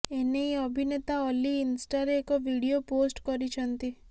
ଏ ନେଇ ଅଭିନେତା ଅଲ୍ଲୀ ଇନ୍ଷ୍ଟାରେ ଏକ ଭିଡିଓ ପୋଷ୍ଟ କରିଛନ୍ତି